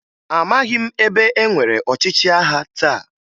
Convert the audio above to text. Amaghị m ebe enwere ọchịchị agha taa